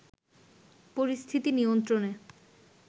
পরিস্থিতি নিয়ন্ত্রনে